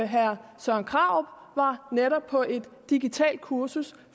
herre søren krarup netop var på et digitalt kursus